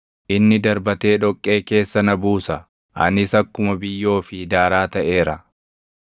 Inni darbatee dhoqqee keessa na buusa; anis akkuma biyyoo fi daaraa taʼeera.